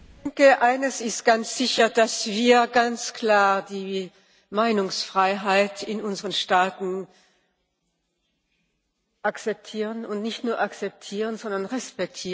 Eines ist ganz sicher, nämlich dass wir ganz klar die Meinungsfreiheit in unseren Staaten akzeptieren, und nicht nur akzpetieren, sondern respektieren.